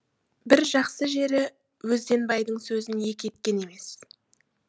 бір жақсы жері өзденбайдың сөзін екі еткен емес